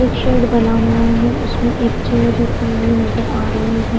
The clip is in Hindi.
एक शेड बना हुआ है उसमें एक चेयर रखी हुई नजर आ रही है।